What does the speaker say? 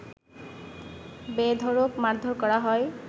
বেধড়ক মারধর করা হয়